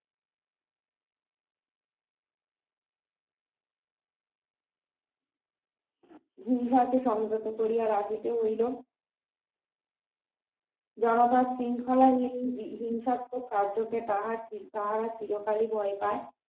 হিংসাকে সংযত করিয়া রাখিতে হইল জনতা শৃংখলাহীন হিংসাত্মক কার্যকে তাহারা তাহারা চিরকালই ভয় পায়